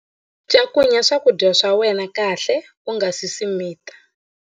Cakunya swakudya swa wena kahle u nga si swi mita.